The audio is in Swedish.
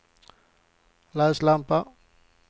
läslampa